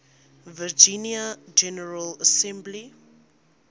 virginia general assembly